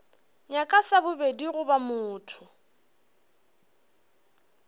nyaka sa bobedi goba motho